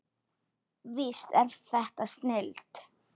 Víst er þetta snilld.